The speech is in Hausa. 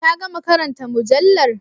Ka gama karanta mujallar?